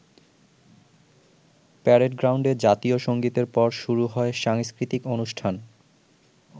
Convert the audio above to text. Parade গ্রাউন্ডে জাতীয় সঙ্গীতের পর শুরু হয় সাংস্কৃতিক অনুষ্ঠান।